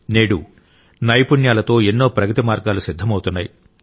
నేడు నైపుణ్యాలతో ఎన్నో ప్రగతి మార్గాలు సిద్ధమవుతున్నాయి